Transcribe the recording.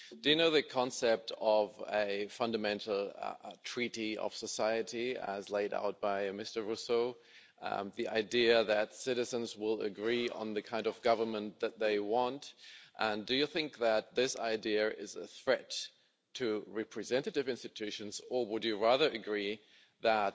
Do you know the concept of a fundamental treaty of society as laid out by Mr Rousseau The idea that citizens will agree on the kind of government that they want. And do you think that this idea is a threat to representative institutions or would you rather agree that